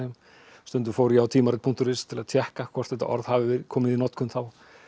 stundum fór ég á tímarit punktur is til að tékka hvort þetta orð hafi verið komið í notkun þá